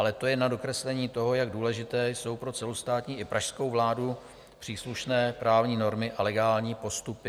Ale to jen na dokreslení toho, jak důležité jsou pro celostátní i pražskou vládu příslušné právní normy a legální postupy.